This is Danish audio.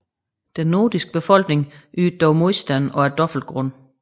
Den nordiske befolkning ydede dog modstand og af dobbelt grund